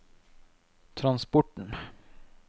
transporten